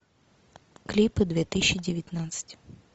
клипы две тысячи девятнадцать